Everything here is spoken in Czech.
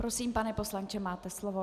Prosím, pane poslanče, máte slovo.